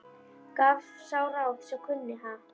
Gaf sá ráð sem kunni, ha!